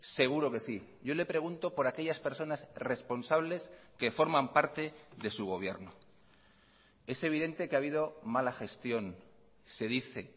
seguro que sí yo le pregunto por aquellas personas responsables que forman parte de su gobierno es evidente que ha habido mala gestión se dice